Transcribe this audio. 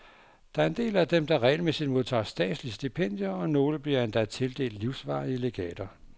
Der er en del af dem, der regelmæssigt modtager statslige stipendier, og nogle bliver endda tildelt livsvarige legater.